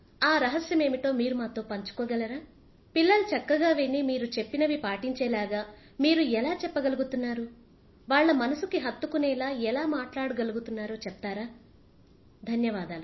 ఆ రహస్యమేమిటో మీరు మాతో పంచుకోగలరా పిల్లలు చక్కగా విని మీరు చెప్పినవి పాటించేలాగ మీరు ఎలా చెప్పగలుగుతున్నారువాళ్ల మనసుకి హత్తుకునేలా ఎలా మాట్లాడగలుగుతున్నారో చెప్తారా ధన్యవాదాలు